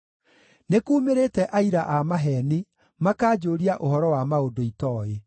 Nĩkuumĩrĩte aira a maheeni, makanjũũria ũhoro wa maũndũ itooĩ.